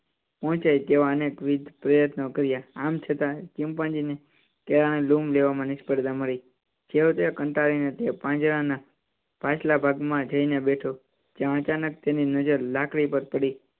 પ્રયત્નો કર્યા આમ છતાં ચિંપાંજી ને કેળાં ની લૂમ લેવા માં નિસફળતા મળી. છેવટે કંટાળી ને તે પાંજરા ના પાછલા ભાગ માં જઇ ને બેઠો જ્યાં અચાનક તેની નજર લાકડી પર પડી.